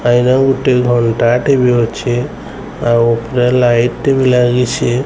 ଗୋଟେ ଘଣ୍ଟା ଟେ ବି ଅଛି। ଆଉ ଉପରେ ଲାଇଟ୍ ଟେ ବି ଲାଗିସି ।